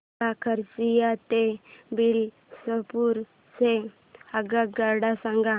मला खरसिया ते बिलासपुर च्या आगगाड्या सांगा